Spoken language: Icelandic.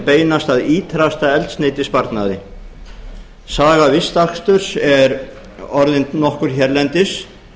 beinast að ýtrasta eldsneytissparnaði saga vistaksturs er orðin nokkur hérlendis